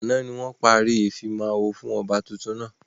Àná ni wọn parí ìfimawo fún ọba tuntun náà.